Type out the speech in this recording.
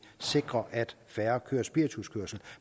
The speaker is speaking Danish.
sikrer at færre kører spirituskørsel